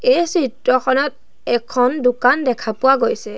এই চিত্ৰখনত এখন দোকান দেখা পোৱা গৈছে।